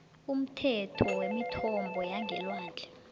umthetho wemithombo yangelwandle